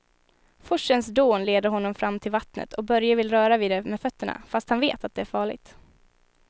Forsens dån leder honom fram till vattnet och Börje vill röra vid det med fötterna, fast han vet att det är farligt.